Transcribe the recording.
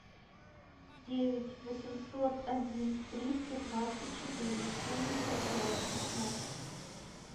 девять восемьсот один триста двадцать четыре семьдесят пять шестнадцать